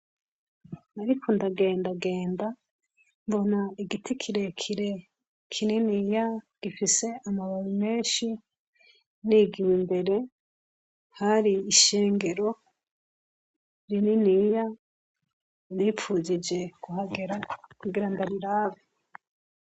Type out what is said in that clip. Nariko ndagendagenda, mbona igiti kirekire kinininya, gifise amababi menshi. Nigiye imbere, hari ishengero rinininya, nifujije kihagera kugira ndarirabe.